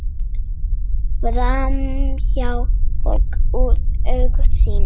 Framhjá og úr augsýn.